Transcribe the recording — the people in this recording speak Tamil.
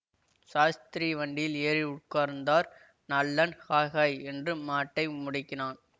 சாஸ்திரி வண்டியில் ஏறி உட்கார்ந்தார் நல்லன் ஹய் ஹய் என்று மாட்டை முடுக்கினான்